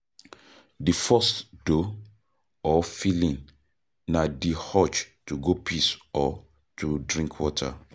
Di first though or feeling na di urge to go piss or to drink water